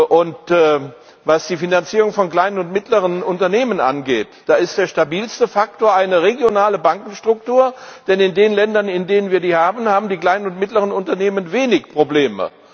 Und was die Finanzierung von kleinen und mittleren Unternehmen angeht, da ist der stabilste Faktor eine regionale Bankenstruktur, denn in den Ländern, in denen wir die haben, haben die kleinen und mittleren Unternehmen wenig Probleme.